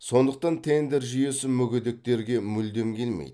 сондықтан тендер жүйесі мүгедектерге мүлдем келмейді